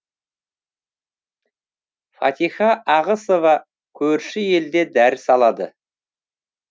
фатиха ағысова көрші елде дәріс алады